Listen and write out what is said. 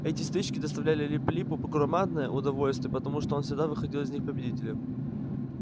эти стычки доставляли лип липу громадное удовольствие потому что он всегда выходил из них победителем